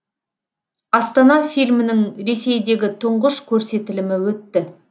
астана фильмінің ресейдегі тұңғыш көрсетілімі өтті